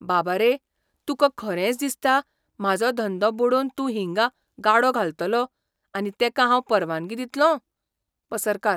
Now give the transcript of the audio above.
बाब रे, तुका खरेंच दिसता, म्हाजो धंदो बुडोवन तूं हिंगा गाडो घालतलो, आनी तेका हांव परवानगी दितलों? पसरकार